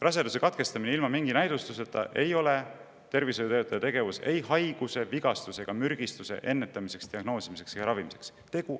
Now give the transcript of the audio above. Raseduse katkestamine ilma mingi näidustuseta ei ole tervishoiutöötaja tegevus ei haiguse, vigastuse ega mürgistuse ennetamiseks, diagnoosimiseks ega ravimiseks.